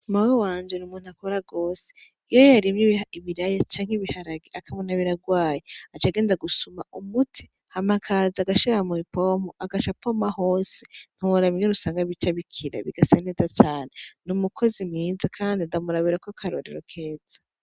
Mama wiwanje n'umuntu akora gose iyo yarimye ibiraya canke ibiharage akabona birarwaye aca genda gusuma umuti Hama akaza agashira mupompo akaca apoma hose ntiworaba bica bikira bigasa neza cane n'umukozi mwiza Kandi ndamurabirako akarorero keza.